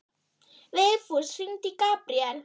Vigfús, hringdu í Gabriel.